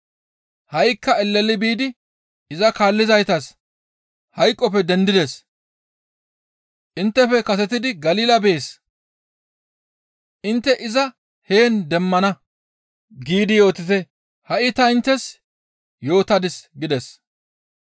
Ha7ikka eleli biidi iza kaallizaytas, ‹Hayqoppe dendides. Inttefe kasetidi Galila bees; intte iza heen demmana› giidi yootite. Hi7a ta inttes yootadis» gides.